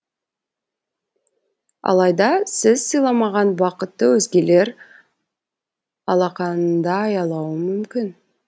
алайда сіз сыйламаған бақытты өзгелер алақанында аялауы мүмкін